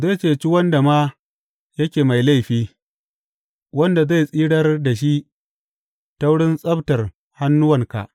Zai ceci wanda ma yake mai laifi, wanda zai tsirar da shi ta wurin tsabtar hannuwanka.